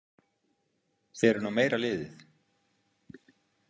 Þið eruð nú meira liðið.